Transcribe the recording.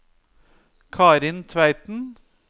Karin Tveiten